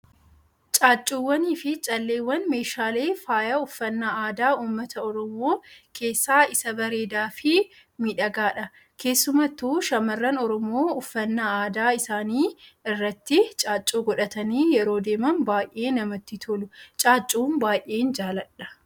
Caaccuuwwanii fi calleewwan meeshaalee faayaa uffannaa aadaa uummata Oromoo keessaa isa bareedaa fi miidhagaadha. Keessumattuu shamaarran Oromoo uffannaa aadaa isaanii irratti caaccuu godhatanii yeroo deeman baayyee namatti tolu. Caaccuu baayyeen jaaladha.